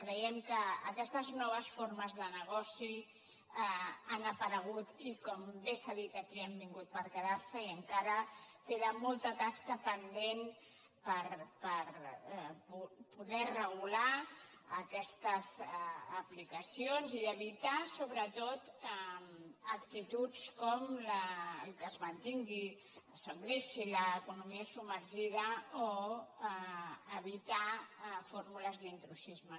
creiem que aquestes noves formes de negoci han aparegut i com bé s’ha dit aquí han vingut per quedar se i encara queda molta tasca pendent per poder regular aquestes aplicacions i evitar sobretot actituds com que es mantingui o s’engreixi l’economia submergida o evitar fórmules d’intrusisme